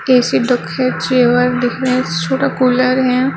AC दिखे chair difference छोटा cooler है।